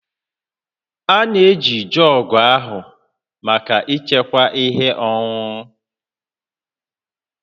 A na-eji jọọgụ ahụ maka ịchekwa ihe ọṅụṅụ